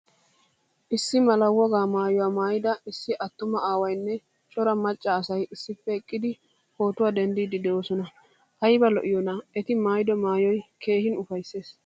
Issi mala wogaa maayuwaa maaydaa issi attuma aawaynne cora macca asay issippe eqqidi pootuwaa denddidi deosona. Ayba lo'iyona eti maayido maayoy keehin ufayssees.